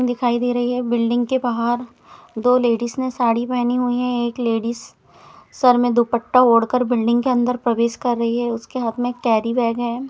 दिखाई दे रही है बिल्डिंग के बाहर दो लेडीस ने साड़ी पहनी हुई है एक लेडीस सर में दुपट्टा ओढ़कर बिल्डिंग के अंदर प्रवेश कर रही है उसके हाथ में एक कैरी बैग हैं।